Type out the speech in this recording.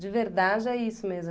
De verdade é isso mesmo.